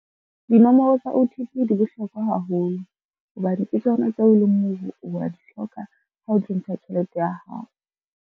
Dinomoro tsa O_T_P di bohlokwa haholo, hobane ke tsona tseo e leng hore wa di hloka ha o tlo ntsha tjhelete ya hao.